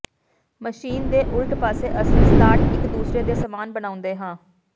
machine ਦੇ ਉਲਟ ਪਾਸੇ ਅਸੀਂ ਸਲਾਟ ਇਕ ਦੂਸਰੇ ਦੇ ਸਮਾਨ ਬਣਾਉਂਦੇ ਹਾਂ